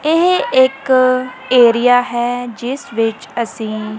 ਇਹ ਇੱਕ ਏਰੀਆ ਹੈ ਜਿਸ ਵਿੱਚ ਅਸੀ--